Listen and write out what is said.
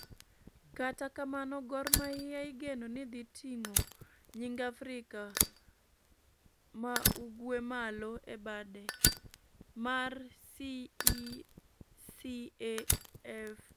kata kamano Gor Mahia igeno nidhi tingo nying Afrika waugwe malo ebad mar CECAFA .